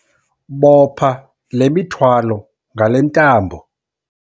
Bopha le mithwalo ngale ntambo.